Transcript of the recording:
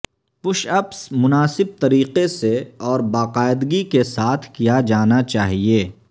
push ups مناسب طریقے سے اور باقاعدگی سے کیا جانا چاہئے